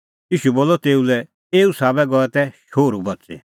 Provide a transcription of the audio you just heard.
ईशू बोलअ तेऊ लै एऊ साबै गऐ तै शोहरू बच़ी